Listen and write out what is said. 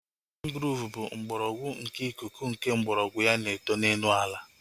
Mangrove bụ mgbọrọgwụ nke ikuku nke mgbọrọgwụ ya na-eto n'elu ala